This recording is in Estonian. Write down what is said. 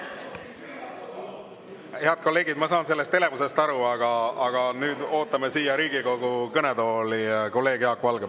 Head kolleegid, ma saan sellest elevusest aru, aga nüüd ootame siia Riigikogu kõnetooli kolleeg Jaak Valget.